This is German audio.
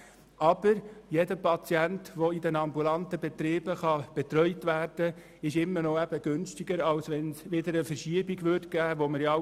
Allerdings ist jeder Patient, der in den ambulanten Betrieben betreut werden kann, immer noch günstiger als eine Verschiebung zurück in den stationären Bereich.